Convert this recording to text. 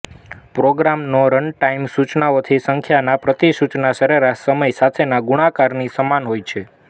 પ્રોગ્રામનો રનટાઇમ સૂચનાઓની સંખ્યાના પ્રતિ સૂચના સરેરાશ સમય સાથેના ગુણાકારની સમાન હોય છે